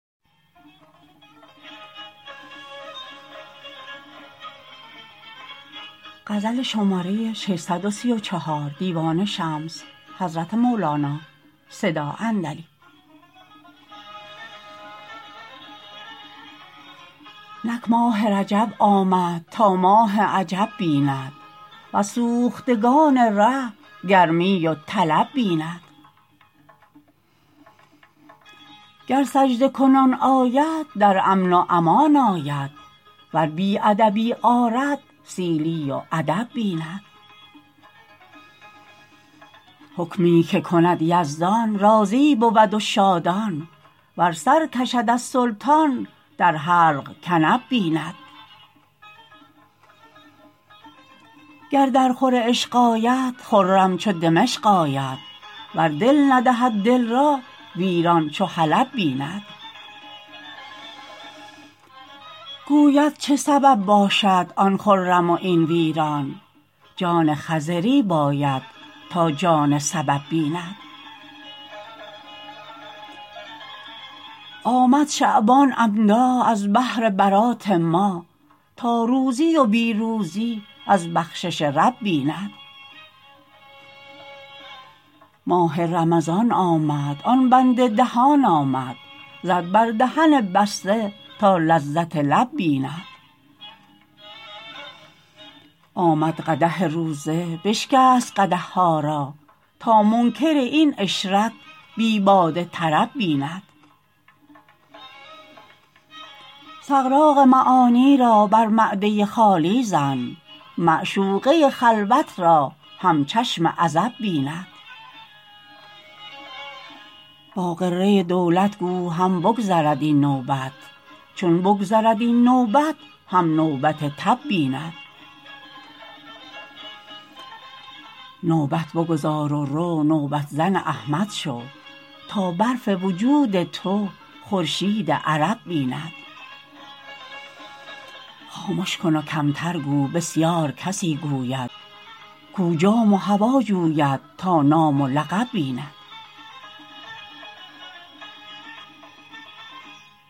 نک ماه رجب آمد تا ماه عجب بیند وز سوختگان ره گرمی و طلب بیند گر سجده کنان آید در امن و امان آید ور بی ادبی آرد سیلی و ادب بیند حکمی که کند یزدان راضی بود و شادان ور سر کشد از سلطان در حلق کنب بیند گر درخور عشق آید خرم چو دمشق آید ور دل ندهد دل را ویران چو حلب بیند گوید چه سبب باشد آن خرم و این ویران جان خضری باید تا جان سبب بیند آمد شعبان عمدا از بهر برات ما تا روزی و بی روزی از بخشش رب بیند ماه رمضان آمد آن بند دهان آمد زد بر دهن بسته تا لذت لب بیند آمد قدح روزه بشکست قدح ها را تا منکر این عشرت بی باده طرب بیند سغراق معانی را بر معده خالی زن معشوقه خلوت را هم چشم عزب بیند با غره دولت گو هم بگذرد این نوبت چون بگذرد این نوبت هم نوبت تب بیند نوبت بگذار و رو نوبت زن احمد شو تا برف وجود تو خورشید عرب بیند خامش کن و کمتر گو بسیار کسی گوید کو جاه و هوا جوید تا نام و لقب بیند